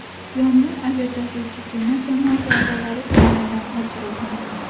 Yong‘in aviatashuvchi kema jamoasi a’zolari tomonidan o‘chirilgan.